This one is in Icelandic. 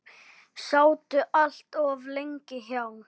Sátu allt of lengi hjá.